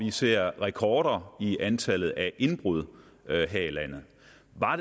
ser rekorder i antallet af indbrud her i landet